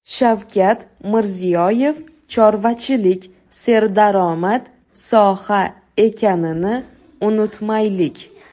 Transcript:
Shavkat Mirziyoyev: chorvachilik serdaromad soha ekanini unutmaylik.